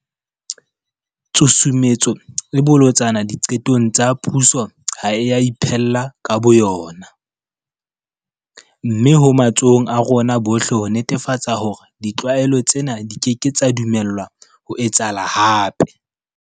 Tshusumetso e bolotsana diqetong tsa puso ha e a iphella ka bo yona. Mme ho matsohong a rona bohle ho netefatsa hore ditlwaelo tsena di keke tsa dumellwa ho etsahala hape.